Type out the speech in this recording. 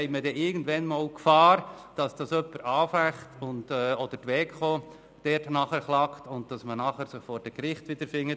Sonst läuft man irgendeinmal Gefahr, dass jemand diese anficht oder dass die Wettbewerbskommission (Weko) nachträglich klagt und man sich nachher vor den Gerichten wiederfindet.